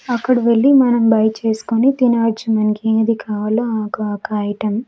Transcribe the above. అక్కడ వెళ్లి మనం బై చేసుకొని తినవచ్చు మనకి ఏది కావాలో ఆ ఆక ఒక ఐటం .